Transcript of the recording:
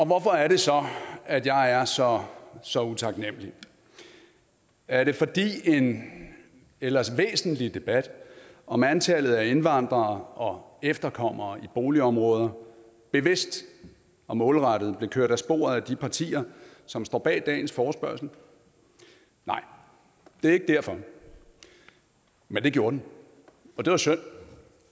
hvorfor er det så at jeg er så så utaknemlig er det fordi en ellers væsentlig debat om antallet af indvandrere og efterkommere i boligområder bevidst og målrettet blev kørt af sporet af de partier som står bag dagens forespørgsel nej det er ikke derfor men det gjorde den og det var synd